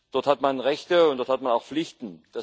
Dort hat man Rechte, und dort hat man auch Pflichten.